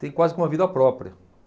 Tem quase que uma vida própria.